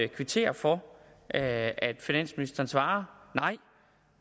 kvittere for at at finansministeren svarer